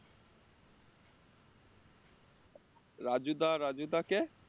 রাজু দা রাজু দা কে?